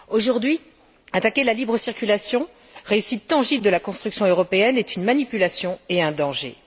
Aujourd'hui, attaquer la libre circulation, réussite tangible de la construction européenne, est une manipulation et un danger.